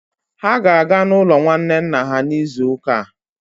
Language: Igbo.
Ha ga-aga n'ụlọ nwanne nna ha n'izu ụka a.